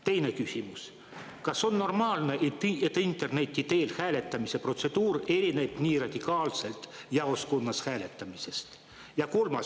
Teine küsimus: kas on normaalne, et interneti teel hääletamise protseduur erineb nii radikaalselt jaoskonnas hääletamisest?